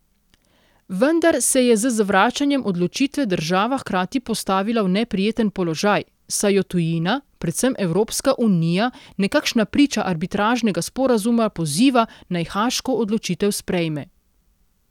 Vendar se je z zavračanjem odločitve država hkrati postavila v neprijeten položaj, saj jo tujina, predvsem Evropska unija, nekakšna priča arbitražnega sporazuma, poziva, naj haaško odločitev sprejme.